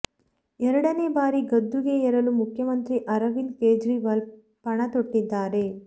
ಎರಡನೇ ಬಾರಿ ಗದ್ದುಗೆ ಏರಲು ಮುಖ್ಯಮಂತ್ರಿ ಅರವಿಂದ್ ಕೇಜ್ರಿವಾಲ್ ಪಣ ತೊಟ್ಟಿದ್ದಾರೆ